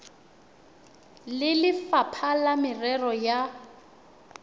le lefapha la merero ya